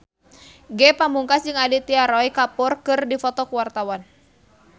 Ge Pamungkas jeung Aditya Roy Kapoor keur dipoto ku wartawan